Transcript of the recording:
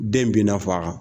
Den binna fa kan .